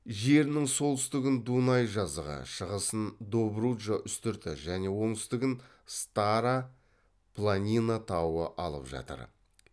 жерінің солтүстігін дунай жазығы шығысын добруджа үстірті және оңтүстігін стара планина тауы алып жатыр